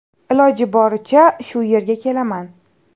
Iloji boricha shu yerga kelaman.